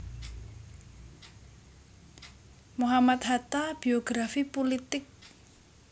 Mohammad Hatta Biografi Pulitik